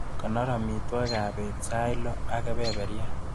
Konor amitwagikap bet sait loo ak kebeberyat.